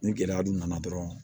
Ni gɛlɛya dun nana dɔrɔn